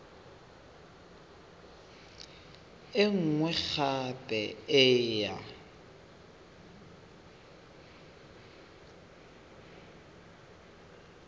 e nngwe gape e ya